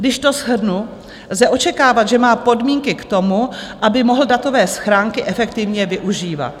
Když to shrnu, lze očekávat, že má podmínky k tomu, aby mohl datové schránky efektivně využívat.